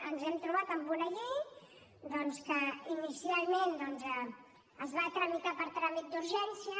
ens hem trobat amb una llei doncs que inicialment es va tramitar per tràmit d’urgència